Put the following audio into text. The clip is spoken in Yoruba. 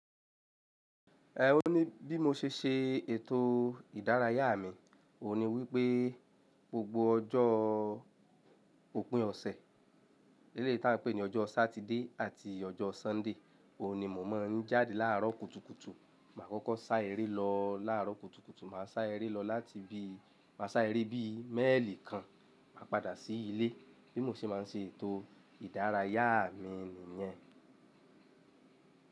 Ẹ ò ní bí mo ṣe ṣe ètò ìdárayá mi, òun ni wípé gbogbo ọjọ́ òpin ọ̀sẹ̀, eléyìí tí a ń pè ní ọjọ́ Saturday àti ọjọ́ Sunday, òun ni mò mọ̀ ń jáde láàárọ̀ kùtùkùtù. Mà á kọ́kọ́ sá eré lọ láàárọ̀ kùtùkùtù, mà á sá eré lọ láti bí, mà á sá eré bí mẹ́èlì kan, mà á padà sí ilé. Bí mo ṣe máa ń ṣe ètò ìdárayá mi ni yẹn.